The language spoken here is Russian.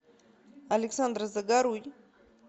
александр загоруй